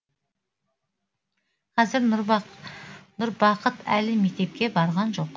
қазір нұрбақыт әлі мектепке барған жоқ